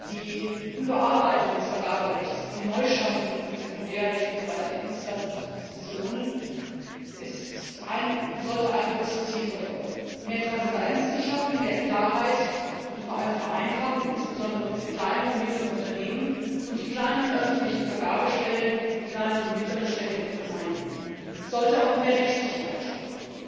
Die Überarbeitung des Vergaberechts und die Neuschaffung von Sekundärrecht im Bereich der Dienstleistungskonzessionen sollte ein großes Ziel verfolgen mehr Transparenz zu schaffen, mehr Klarheit, und vor allem Vereinfachung, insbesondere für kleine und mittlere Unternehmen und die kleinen öffentlichen Vergabestellen wie kleine und mittlere Städte und Gemeinden. Es sollte auch mehr Rechtssicherheit schaffen.